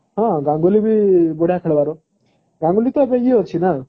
ହଁ ଗାଙ୍ଗୁଲୀ ବି ବଢିଆ ଖେଳିବାର ଗାଙ୍ଗୁଲୀ ତ ଏବେ ଇଏ ଅଛି ନା